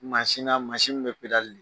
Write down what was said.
Maasina masin in bɛ pedali de.